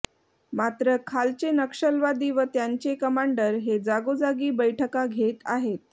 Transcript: मात्र खालचे नक्षलवादी व त्यांचे कमांडर हे जागोजागी बैठका घेत आहेत